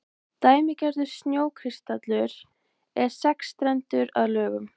dæmigerður snjókristallur er sexstrendur að lögun